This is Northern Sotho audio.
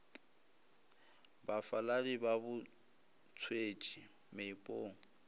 bafaladi ba bo thwetšwe meepong